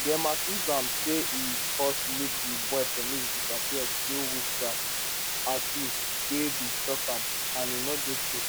dem accuse am say e cause make di boy penis disappear through witchcraft accuse wey bin shock am and e no dey true